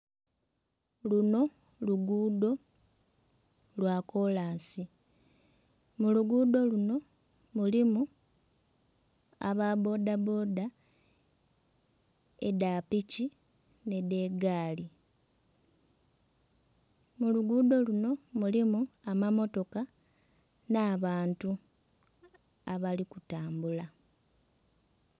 Luno luguudo lwa kolansi mu luguudo luno mulimu ba bboda bboda edha piki n'edha egaali. Mu luguudo luno mulimu amamotoka n'abantu abali kutambula.